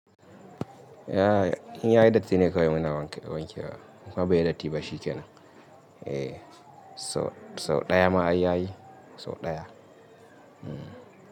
Yaya in yayi datti ne kawai muna wanke wanke wa. Kuma bai yi datti ba shi ke nan. Eh sau ɗaya ma ai yayi sau ɗaya.